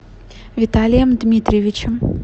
виталием дмитриевичем